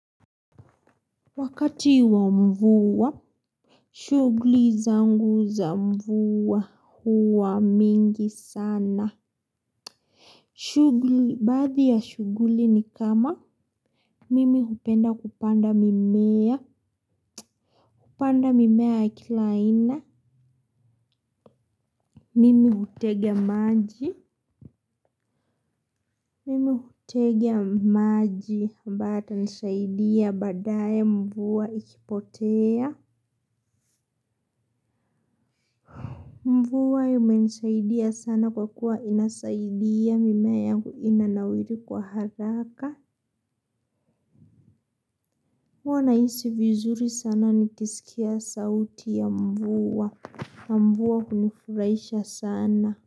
Wakati wa mvua shughuli zangu za mvua huwa mingi sana. Shughuli baadhi ya shughuli ni kama mimi hupenda kupanda mimea. Kupanda mimea ya kila aina. Mimi hutega maji. Mimi hutega maji ambayo yatanisaidia baadaye mvua ikipotea. Mvua imenisaidia sana kwa kuwa inasaidia mimea yangu inanawiri kwa haraka. Huwa nahisi vizuri sana nikisikia sauti ya mvua. Mvua hunifurahisha sana.